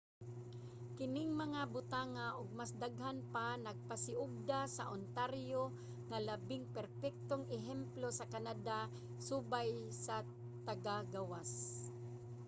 kining mga butanga ug mas daghan pa nagpasiugda sa ontario nga labing perpektong ehemplo sa canada subay sa taga-gawas